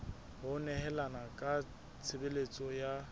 ho nehelana ka tshebeletso ya